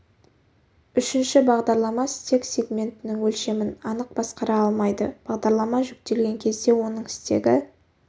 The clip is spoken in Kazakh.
үшінші бағдарлама стек сегментінің өлшемін анық басқара алмайды бағдарлама жүктелген кезде оның стегі